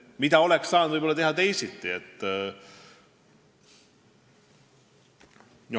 Mida oleks saanud teisiti teha?